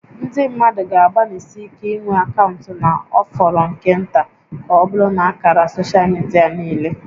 Ndị mmadụ ga-agbanịsi ike inwe akaụntụ na ọ fọrọ nke nta ka ọbụrụ na ákàrà soshal midia niile